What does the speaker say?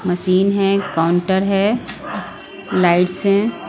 Machine है counter है lights हैं।